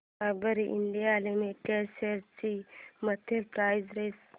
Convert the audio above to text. Dabur India limited shares ची monthly price range